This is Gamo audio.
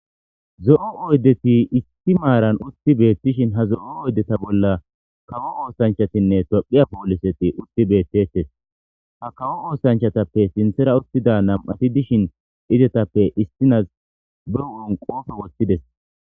Zo'o oydeti issi maaran utti beettishi ha zo'o oydeta bolla kawo oosanchchatinne tiphphiya pooliseti utti beettetes. Ha kawo oosanchchatappe sinththara uttida nami'ati dishin izetappe issinazi hu'en qoofe woththides.